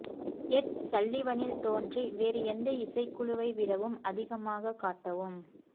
எட் சல்லிவனில் தோன்றி வேறு எந்த இசைக்குழுவை விடவும் அதிகமாக காட்டவும்